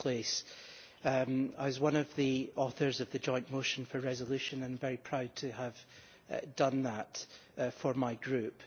I was one of the authors of the joint motion for a resolution and am very proud to have done that for my group.